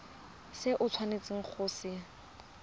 se o tshwanetseng go se